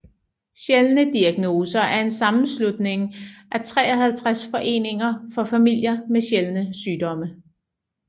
Sjældne Diagnoser er en sammenslutning af 53 foreninger for familier med sjældne sygdomme